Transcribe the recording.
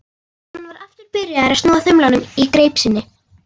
Hann var aftur byrjaður að snúa þumlunum í greip sinni.